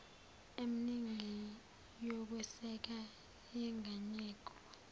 emningi yokweseka yenganyelwe